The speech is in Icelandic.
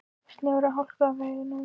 Snjór og hálka á vegum